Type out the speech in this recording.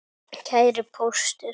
Kæri Póstur!